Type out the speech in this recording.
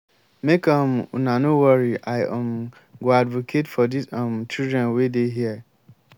make um una no worry i um go advocate for dis um children wey dey here